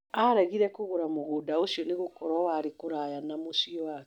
Aregire kũgũra mũgũnda ũcio nĩgũkorwo warĩ kũraya na mũciĩ wake.